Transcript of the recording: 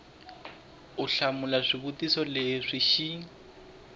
u hlamula swivutiso leswi xi